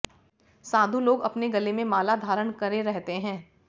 साधु लोग अपने गले में माला घारण करे रहते है